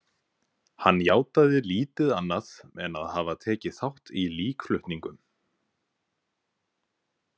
Hann játaði lítið annað en að hafa tekið þátt í líkflutningum.